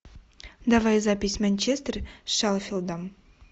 давай запись манчестер с шеффилдом